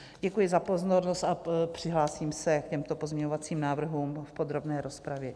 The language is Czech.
Děkuji za pozornost a přihlásím se k těmto pozměňovacím návrhům v podrobné rozpravě.